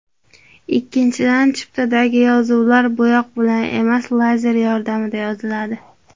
Ikkinchidan, chiptadagi yozuvlar bo‘yoq bilan emas, lazer yordamida yoziladi.